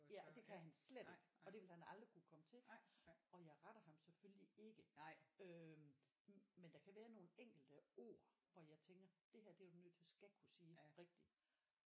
Ja og det kan han slet ikke og det vil han aldrig kunne komme til og jeg retter ham selvfølgelig ikke øh men der kan være nogle enkelte ord hvor jeg tænker det her det er du nødt til skal kunne sige rigtigt